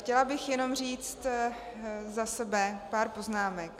Chtěla bych jenom říct za sebe pár poznámek.